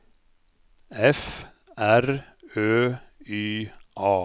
F R Ø Y A